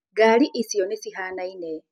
Ngari icio nĩ cihanaine.